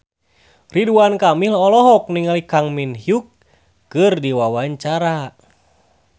Ridwan Kamil olohok ningali Kang Min Hyuk keur diwawancara